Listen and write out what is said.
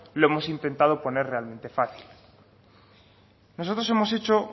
lo hemos intentado poner realmente fácil nosotros hemos hecho